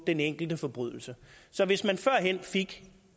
den enkelte forbrydelse så hvis man førhen fik